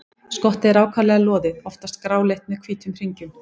Skottið er ákaflega loðið, oftast gráleitt með hvítum hringjum.